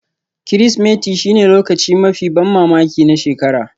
Kirsimeti shine lokacin mafi ban mamaki na shekara